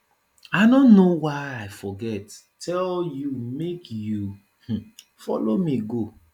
i no know why i forget tell you make you um follow me go